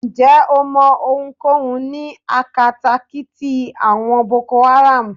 Ǹjẹ́ o mọ ohunkóhun ní akatakíti àwọn Boko Haram?